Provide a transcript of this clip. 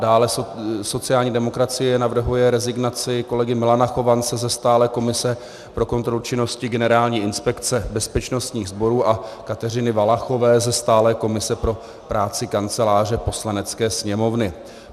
Dále sociální demokracie navrhuje rezignaci kolegy Milana Chovance ze stálé komise pro kontrolu činností Generální inspekce bezpečnostních sborů a Kateřiny Valachové ze stálé komise pro práci Kanceláře Poslanecké sněmovny.